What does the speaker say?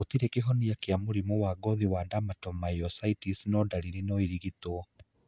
Gũtirĩ kĩhonia gĩa mũrimũ wa ngothi wa dermatomyositis no darĩrĩ no irigitwo